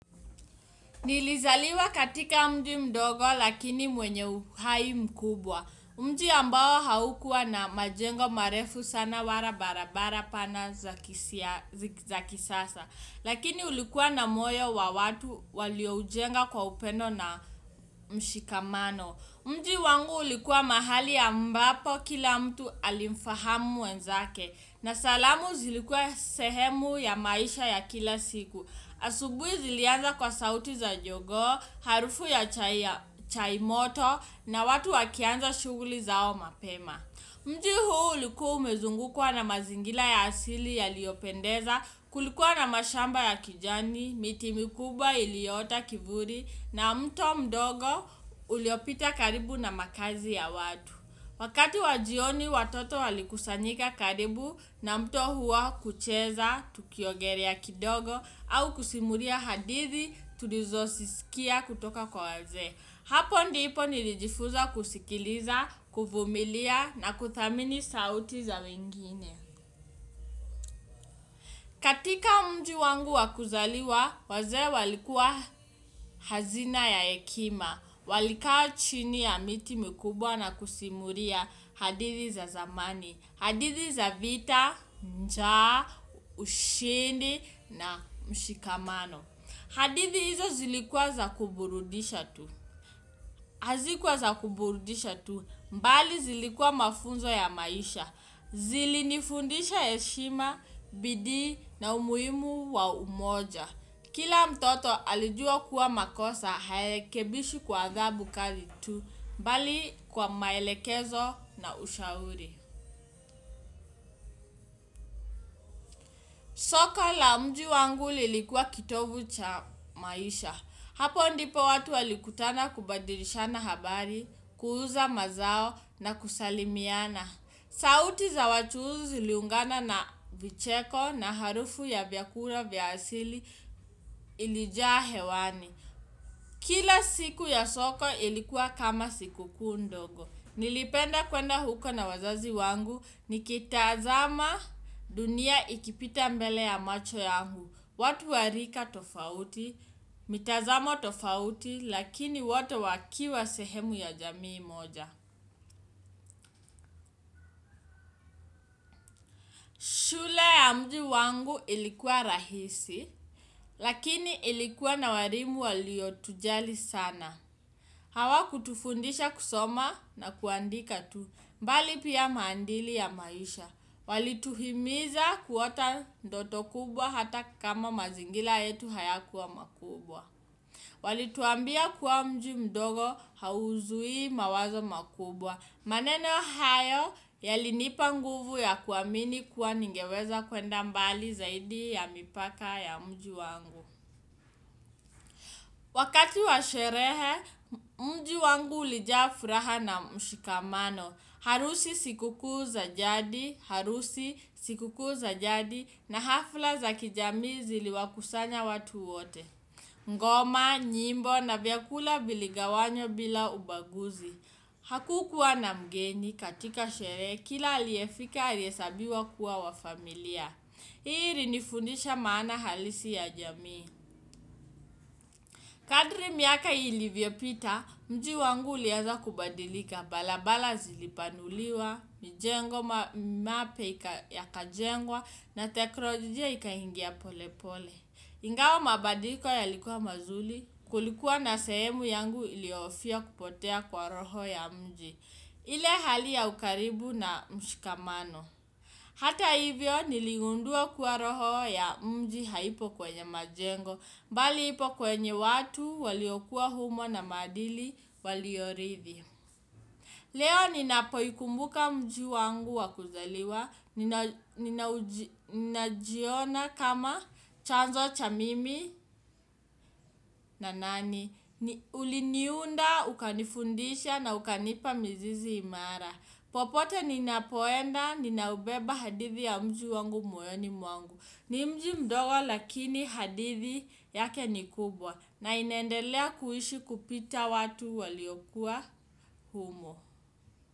Nilizaliwa katika mji mdogo lakini mwenye uhai mkubwa. Mji ambao haukua na majengo marefu sana wara barabara pana za kisasa. Lakini ulikuwa na moyo wa watu walioujenga kwa upendo na mshikamano. Mji wangu ulikuwa mahali ambapo kila mtu alimfahamu mwenzake. Na salamu zilikuwa sehemu ya maisha ya kila siku. Asubui zilianza kwa sauti za jogoo, harufu ya chai moto na watu wakianza shuguli zao mapema. Mji huu ulikua umezungukwa na mazingila ya asili yaliopendeza, kulikuwa na mashamba ya kijani, miti mikuba iliota kivuli na mto mdogo uliopita karibu na makazi ya watu. Wakati wa jioni watoto walikusanyika karibu na mto huwa kucheza tukiogelea kidogo au kusimulia hadithi tulizo sisikia kutoka kwa wazee. Hapo ndipo nilijifuza kusikiliza, kuvumilia na kuthamini sauti za wengine. Katika mji wangu wa kuzaliwa wazee walikuwa hazina ya ekima. Walikaa chini ya miti mikubwa na kusimulia hadithi za zamani. Hadithi za vita, njaa, ushindi na mshikamano. Hadithi hizo zilikuwa za kuburudisha tu. Hazikuwa za kuburudisha tu, mbali zilikuwa mafunzo ya maisha. Zili nifundisha eshima, bidii na umuimu wa umoja. Kila mtoto alijua kuwa makosa, haekebishi kwa adhabu kali tu, mbali kwa maelekezo na ushauri. Soka la mji wangu lilikuwa kitovu cha maisha. Hapo ndipo watu walikutana kubadilishana habari, kuuza mazao na kusalimiana. Sauti za wachuuzi ziliungana na vicheko na harufu ya vyakula vya asili ilijaa hewani. Kila siku ya soko ilikuwa kama siku kuu ndogo. Nilipenda kwenda huko na wazazi wangu, nikitazama dunia ikipita mbele ya macho yangu. Watu wa rika tofauti, mitazamo tofauti, lakini wote wakiwa sehemu ya jamii moja. Na mji wangu ilikuwa rahisi, lakini ilikuwa na walimu waliotujali sana. Hawa kutufundisha kusoma na kuandika tu, mbali pia maandili ya maisha. Walituhimiza kuota ndoto kubwa hata kama mazingila yetu haya kuwa makubwa. Walituambia kuwa mji mdogo hauzui mawazo makubwa. Maneno hayo yalinipa nguvu ya kuamini kuwa ningeweza kwenda mbali zaidi ya mipaka ya mji wangu. Wakati wa sherehe mji wangu ulija furaha na mshikamano. Harusi siku kuu za jadi, harusi siku kuu za jadi na hafla za kijamii ziliwakusanya watu wote. Ngoma, nyimbo na vyakula viligawanywa bila ubaguzi. Hakukuwa na mgeni katika shere kila aliefika aliesabiwa kuwa wa familia. Ilinifundisha maana halisi ya jamii. Kadri miaka ilivyopita, mji wangu ulianza kubadilika bala bala zilipanuliwa, mijengo mapya yakajengwa na tekrojijia ikahingia polepole. Ingawa mabadiliko yalikuwa mazuli, kulikuwa na sehemu yangu ilioofia kupotea kwa roho ya mji. Ile hali ya ukaribu na mshikamano. Hata hivyo niligundua kuwa roho ya mji haipo kwenye majengo. Mbali ipo kwenye watu waliokuwa humo na maadili waliorithi. Leo ninapo ikumbuka mji wangu wa kuzaliwa. Ninajiona kama chanzo cha mimi na nani. Uliniunda ukanifundisha na ukanipa mizizi imara. Popote ninapoenda, ninaubeba hadithi ya mji wangu moyoni mwangu. Ni mji mdogo lakini hadithi yake ni kubwa na inaendelea kuishi kupita watu waliokuwa humo.